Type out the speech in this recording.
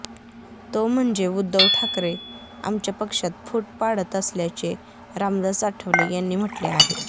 तो म्हणजे उद्धव ठाकरे आमच्या पक्षात फूट पाडत असल्याचे रामदास आठवले यांनी म्हटले आहे